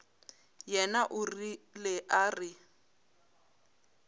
yena o rile a re